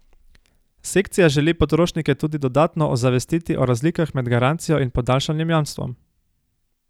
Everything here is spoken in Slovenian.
Sekcija želi potrošnike tudi dodatno ozavestiti o razlikah med garancijo in podaljšanim jamstvom.